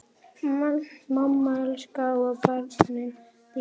Mamma elskaði börn og dýr.